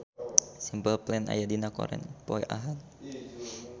Simple Plan aya dina koran poe Ahad